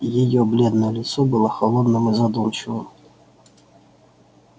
её бледное лицо было холодным и задумчивым